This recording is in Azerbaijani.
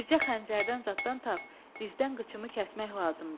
Bircə xəncərdən zaddan tap, dizdən qıçımı kəsmək lazımdır.